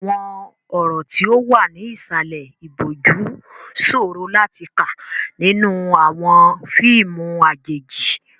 Àwọn ọ̀rọ̀ tí ó wà ní ìsàlẹ̀ ìbòjú ṣòro láti kà nínú àwọn fíìmù àjèjì.